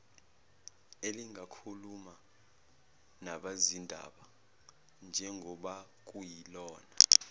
elingakhuluma nabezindaba njengobakuyilona